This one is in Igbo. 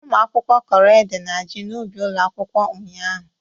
Ụmụ akwụkwọ kọrọ ede na ji n'ubi ụlọ akwụkwọ ụnyaahụ